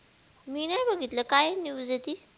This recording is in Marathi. मी नाय बघितलं काय news हे ती